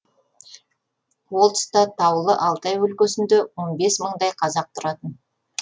ол тұста таулы алтай өлкесінде он бес мыңдай қазақ тұратын